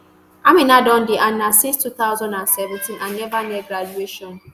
amina don dey aun since two thousand and seventeen and neva near graduation